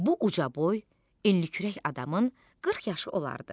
Bu ucaboy, enlikürək adamın 40 yaşı olardı.